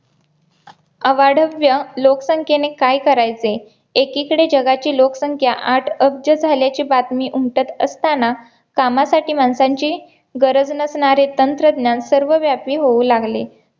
अवाढव्य लोकसंख्येने काय करायचे? एकीकडे जगाची लोकसंख्या आठ अब्ज झाल्याची बातमी उमटत असताना कामासाठी माणसांची गरज नसणारे तंत्रज्ञान सर्व व्यापी होऊ लागले